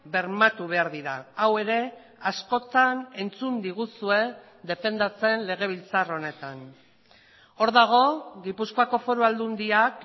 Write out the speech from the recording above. bermatu behar dira hau ere askotan entzun diguzue defendatzen legebiltzar honetan hor dago gipuzkoako foru aldundiak